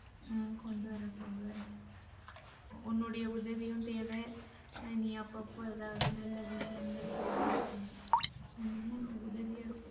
ஹ்ம் கொண்டு வரேன் கொண்டு வரேன். உன்னோட உதவியும் தேவ. நீ அப்பப்பஏதாது நல்ல விஷயங்கள் சொல்லி உதவியா இருக்கும்.